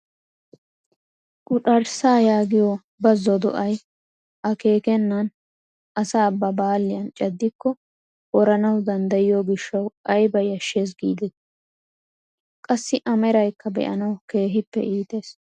Quxarssaa yaagiyoo bazo do"ay akeekennan asaa ba baalliyaan caddiko woranawu danddayiyoo gishshawu ayba yashshees gidetii! qassi a meraykka be"aanawu keehippe iites!